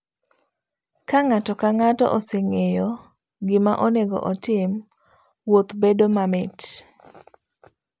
Kang'ato kang'ato oseng'eyo gima nonego otim, wuoth bet mamit.